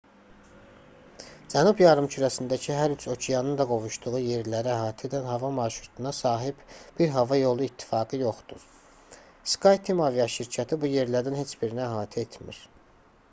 cənub yarımkürəsindəki hər üç okeanın da qovuşduğu yerləri əhatə edən hava marşrutuna sahib bir hava yolu i̇ttifaqı yoxdur skyteam aviaşirkəti bu yerlərdən heç birini əhatə etmir